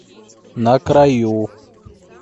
на краю